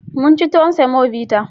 Mun ci tuwon semobita.